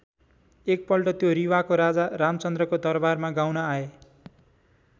एक पल्ट त्यो रीवाको राजा रामचन्द्रको दरबारमा गाउन आए।